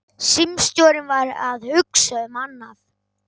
Símstjórinn var að hugsa um annað.